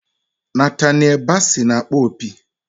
Nataniel Bassey na-akpọ opi.